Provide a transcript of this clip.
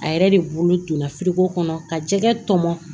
A yɛrɛ de bolo donna kɔnɔ ka jɛgɛ tɔmɔ